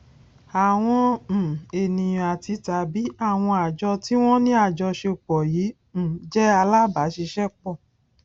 àwọn um ènìyàn àtitàbí àwọn àjọ tí wón ní àjọṣepò yìí um jé alábàáṣiṣépò